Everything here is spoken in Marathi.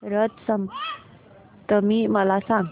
रथ सप्तमी मला सांग